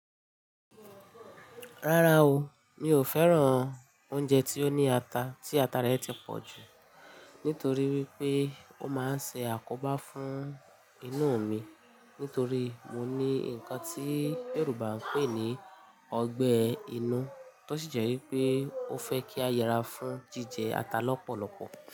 Rárá o, mi ò fẹ́ràn oúnjẹ tí ó ní ata, tí ata rẹ̀ ti pọ̀ jù nítorí wípé ó máa ń ṣe àkóbá fún inú mi nítorí mo ní ǹkan tí Yorùbá ń pè ní ọgbẹ́ inú, tó sì jẹ́ wípé ó fẹ́ kí a yẹra fún jíjẹ ata lọ́pọ̀lọpọ̀.